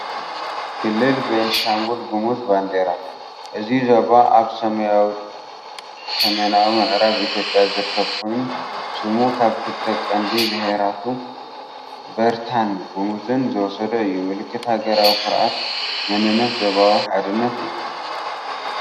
ክልል ቤንሻንጉል ጉሙዝ ባንዴራ። እዚ ዞባ ኣብ ሰሜናዊ ምዕራብ ኢትዮጵያ ዝርከብ ኮይኑ፡ ስሙ ካብ ክልተ ቀንዲ ብሄራቱ፡ በርታን ጉሙዝን ዝወሰዶ እዩ። ምልክት ሃገራዊ ኩርዓት፣ መንነት፣ ዞባዊ ሓድነት እዩ።